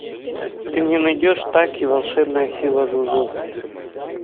ты мне найдешь так и волшебная сила жужу